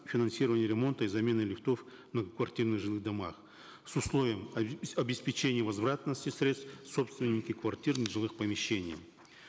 финансирования ремонта и замены лифтов в многоквартирных жилых домах с условием обеспечения возвратности средств собственники квартир нежилых помещений